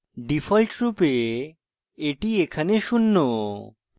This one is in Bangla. ডিফল্টরূপে এটি এখানে শূন্য